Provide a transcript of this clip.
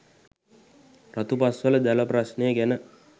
රතුපස්වල ජල ප්‍රශ්නය ගැන